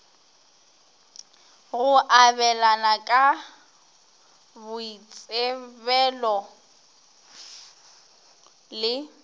go abelana ka boitsebelo le